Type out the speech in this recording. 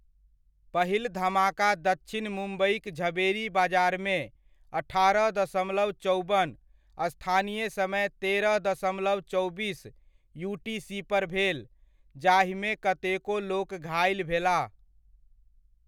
पहिल धमाका दक्षिण मुम्बइक झवेरी बाजारमे अठारह दशमलव चौबन स्थानीय समय तेरह दशमलव चौबीस यूटीसी पर भेल, जाहिमे कतेको लोक घाइल भेलाह ।